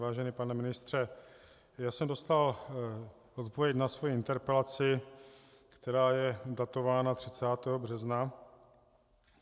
Vážený pane ministře, já jsem dostal odpověď na svoji interpelaci, která je datována 30. března.